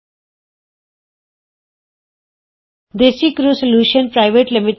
desi crew solutions private limited DesiCrew solutions PVT